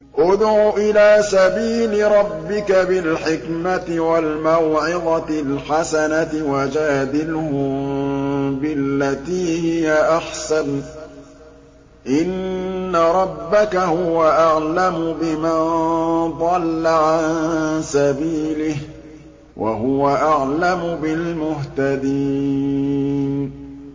ادْعُ إِلَىٰ سَبِيلِ رَبِّكَ بِالْحِكْمَةِ وَالْمَوْعِظَةِ الْحَسَنَةِ ۖ وَجَادِلْهُم بِالَّتِي هِيَ أَحْسَنُ ۚ إِنَّ رَبَّكَ هُوَ أَعْلَمُ بِمَن ضَلَّ عَن سَبِيلِهِ ۖ وَهُوَ أَعْلَمُ بِالْمُهْتَدِينَ